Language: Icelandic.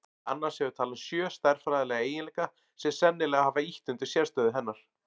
Annars hefur talan sjö stærðfræðilega eiginleika sem sennilega hafa ýtt undir sérstöðu hennar.